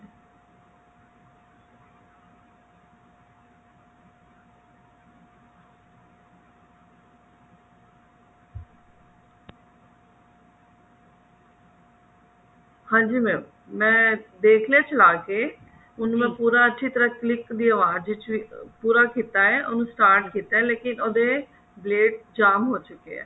ਹਾਂਜੀ mam ਮਾਈ ਦੇਖ ਲਿਆ ਚਲਾ ਕੇ ਉਹਨੂੰ ਮੈਂ ਪੂਰਾ ਅੱਛੀ ਤਰ੍ਹਾਂ click ਦੀ ਆਵਾਜ ਚ ਵੀ ਪੂਰਾ ਕੀਤਾ ਹੈ ਉਹਨੂੰ start ਕੀਤਾ ਹੈ ਲੇਕਿਨ ਉਹਦੇ blade ਜਾਮ ਹੋ ਚੁੱਕੇ ਨੇ